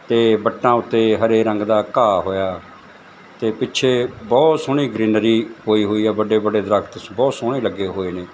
ਤੇ ਵੱਟਾਂ ਉੱਤੇ ਹਰੇ ਰੰਗ ਦਾ ਘਾਹ ਹੋਇਆ ਤੇ ਪਿੱਛੇ ਬਹੁਤ ਸੋਹਣੀ ਗਰੀਨਰੀ ਹੋਈ-ਹੋਈ ਏ ਵੱਡੇ-ਵੱਡੇ ਦਰਖਤ ਬਹੁਤ ਸੋਹਣੇ ਲੱਗੇ ਹੋਏ ਨੇ।